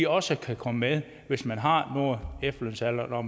også kan komme med hvis man har nået efterlønsalderen og